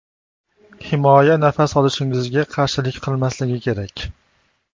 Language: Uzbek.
Himoya nafas olishingizga qarshilik qilmasligi kerak.